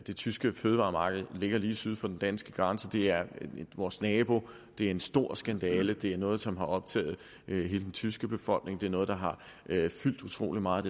det tyske fødevaremarked ligger lige syd for den danske grænse det er vores naboer det er en stor skandale det er noget som har optaget hele den tyske befolkning det er noget der har fyldt utrolig meget